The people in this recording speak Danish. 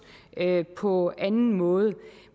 på anden måde